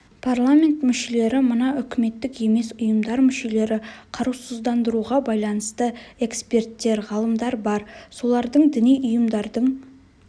парламент мүшелері мына үкіметтік емес ұйымдар мүшелері қарусыздандыруға байланысты эксперттер ғалымдар бар солардың діни ұйымдардың